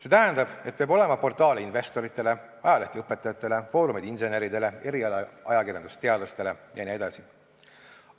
See tähendab, et peab olema portaale investoritele, ajalehti õpetajatele, foorumeid inseneridele, erialaajakirjandust teadlastele jne.